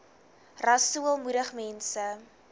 rasool moedig mense